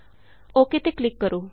okay ਤੇ click ਕਰੋ